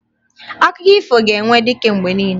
Akụkọ ifo ga-enwe dike mgbe niile